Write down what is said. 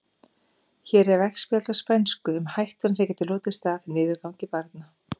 Hér er veggspjald á spænsku um hættuna sem getur hlotist af niðurgangi barna.